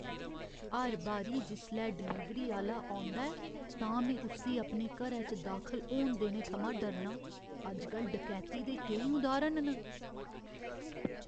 हर बारी जिसलै डलीवरी आह्‌ला औंदा ऐ, तां में उस्सी अपने घरै च दाखल होन देने थमां डरना आं। अजकल डकैती दे केईं उदाहरण न।